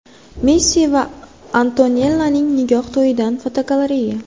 Messi va Antonellaning nikoh to‘yidan fotogalereya.